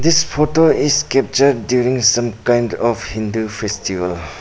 This photo is capture during some kind of hindu festival.